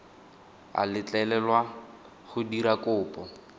a letlelelwa go dira kopo